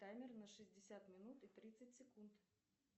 таймер на шестьдесят минут и тридцать секунд